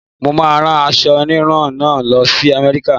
Mo máa rán aṣọ híhun náà lọ sí America.